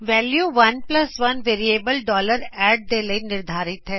value 11 variable add ਦੇ ਲਈ ਨਿਰਧਾਰਿਤ ਹੈ